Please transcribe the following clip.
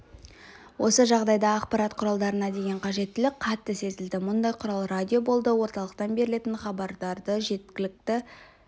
осы жағдайда ақпарат құралдарына деген қажеттілік қатты сезілді мұндай құрал радио болды орталықтан берілетін хабарларды жергілікті